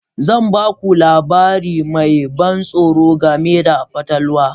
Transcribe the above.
Zan ba ku labari mai ban tsoro game da fatalwa.